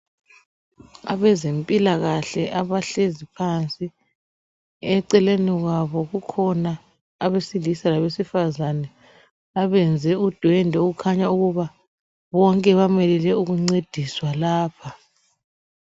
Abezempilakahle abahlezi phansi eceleni kwabo kukhona abesilisa labesifazana abenze udwendwe okukhanya ukuba bonke bamelele ukuncediswa lapha.